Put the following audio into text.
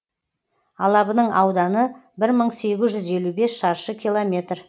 алабының ауданы бір мың сегіз жүз елу бес шаршы километр